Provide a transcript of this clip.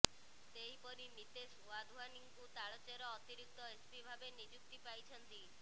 ସେହିପରି ନିତେଶ ୱାଧୱାନିଙ୍କୁ ତାଳଚେର ଅତିରିକ୍ତ ଏସ୍ପି ଭାବେ ନିଯୁକ୍ତି ପାଇଛନ୍ତି